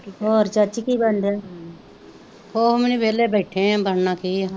ਹੋਰ ਚਾਚੀ ਕੀ ਬਨਣ ਡੇਆ ਕੁੱਛ ਵੀ ਨੀ ਵਹਲੇ ਬੈਠੇ ਆ ਬਣਨਾ ਕੀ ਏ,